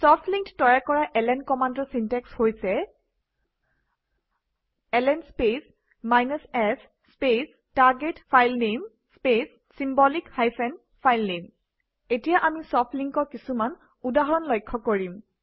soft link তৈয়াৰ কৰা LN কমাণ্ডৰ চিনটেক্স হৈছে - LN space s space target filename space symbolic filename এতিয়া আমি ছফ্ট link অৰ কিছুমান উদাহৰণ লক্ষ্য কৰিম